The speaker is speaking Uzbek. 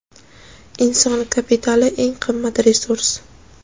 Inson kapitali — eng qimmat resurs.